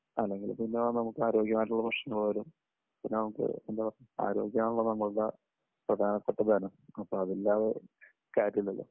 അല്ലെങ്കിൽ പിന്നെ നമുക്ക് ആരോഗ്യം ആയിട്ടുള്ള ഭക്ഷണം ആയാലും, പിന്നെ നമുക്ക്, എന്താ പറയുക, ആരോഗ്യം ആണല്ലോ നമ്മുടെ പ്രധാനപ്പെട്ട ധനം. അപ്പോ അത് ഇല്ലാതെ കാര്യമില്ലല്ലോ.